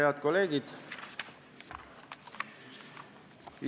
Head kolleegid!